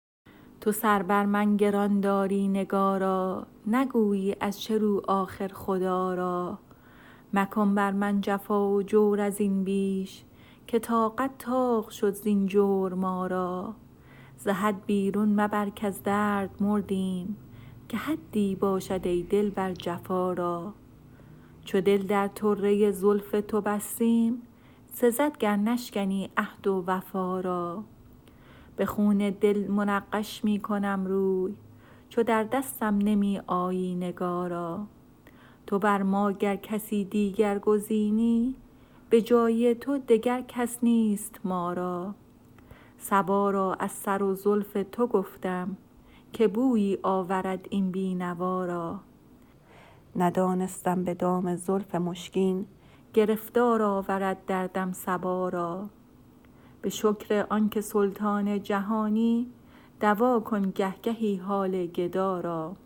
تو سر بر من گران داری نگارا نگویی از چه رو آخر خدا را مکن بر من جفا و جور از این بیش که طاقت طاق شد زین جور ما را ز حد بیرون مبر کز درد مردیم که حدی باشد ای دلبر جفا را چو دل در طره زلف تو بستیم سزد گر نشکنی عهد و وفا را به خون دل منقش می کنم روی چو در دستم نمی آیی نگارا تو بر ما گر کسی دیگر گزینی به جای تو دگر کس نیست ما را صبا را از سر و زلف تو گفتم که بویی آورد این بینوا را ندانستم به دام زلف مشکین گرفتار آورد دردم صبا را به شکر آنکه سلطان جهانی دوا کن گهگهی حال گدا را